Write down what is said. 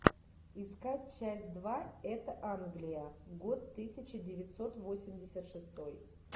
искать часть два это англия год тысяча девятьсот восемьдесят шестой